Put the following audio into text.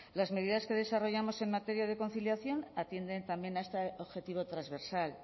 las medidas que desarrollamos en materia de conciliación atienden también a este objetivo transversal